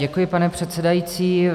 Děkuji, pane předsedající.